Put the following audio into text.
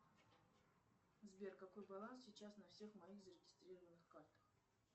сбер какой баланс сейчас на всех моих зарегистрированных картах